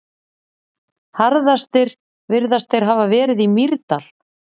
Harðastir virðast þeir hafa verið í Mýrdal.